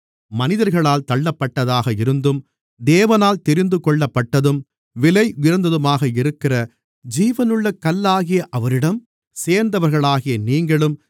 மனிதர்களால் தள்ளப்பட்டதாக இருந்தும் தேவனால் தெரிந்துகொள்ளப்பட்டதும் விலையுயர்ந்ததுமாக இருக்கிற ஜீவனுள்ள கல்லாகிய அவரிடம் சேர்ந்தவர்களாகிய நீங்களும்